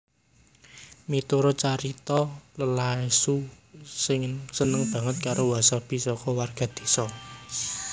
Miturut carita Ieyasu seneng banget karo wasabi soko warga désa